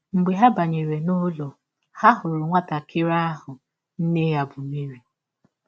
Mgbe ha banyere n’ụlọ, ha hụrụ nwatakịrị ahụ na nne ya bụ́ Meri. ”